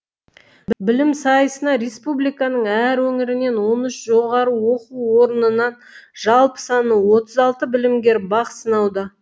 білім сайысына республиканың әр өңірінен он үш жоғары оқу орнынан жалпы саны отыз алты білімгер бақ сынауда